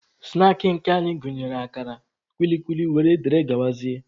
Snaakị nke anyị gụnyere akara, kwili kwili wdg.